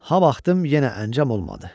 Hav axtım, yenə əncam olmadı.